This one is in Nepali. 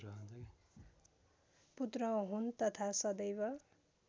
पुत्र हुन् तथा सदैव